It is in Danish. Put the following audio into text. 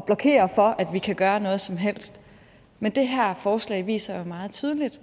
blokerer for at vi kan gøre noget som helst men det her forslag viser jo meget tydeligt